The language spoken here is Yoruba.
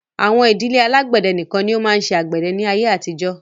Àwọn ìdílé alágbẹ̀dẹ nìkan ni ó máa ń ṣe àgbẹ̀dẹ ní ayé àtijó.